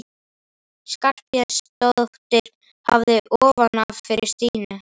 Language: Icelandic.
Skarphéðinsdóttir hafði ofan af fyrir Stínu.